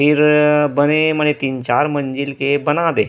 फिर बने तीन चार मंजिल के बना दे हे।